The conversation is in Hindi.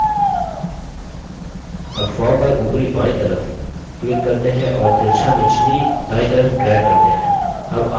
अब form पर उपरी बायीं तरफ click करते हैं और तिरछा निचले दायीं तरफ drag करते हैं